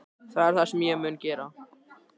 Það er það sem ég mun gera